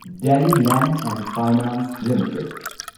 Delhi land and finance limited